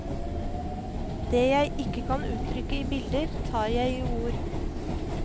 Det jeg ikke kan uttrykke i bilder, tar jeg i ord.